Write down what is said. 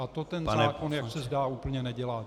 A to ten zákon, jak se zdá, úplně nedělá.